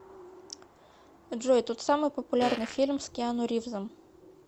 джой тот самый популярный фильм с киану ривзом